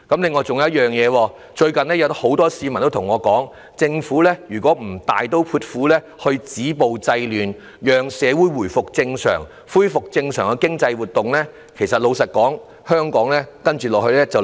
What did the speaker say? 此外，最近有很多市民對我說，如果政府不大刀闊斧地止暴制亂，讓社會回復正常，恢復正常的經濟活動，香港接下來便會出問題。